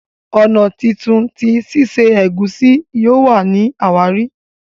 ọnà títún tí sise egusi yóò wá ní àwárí.